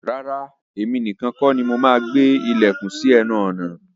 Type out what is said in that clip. Rárá, èmi nìkan kọ́ ni mo máa gbé ilẹ̀kùn sí ẹnu ọ̀nà.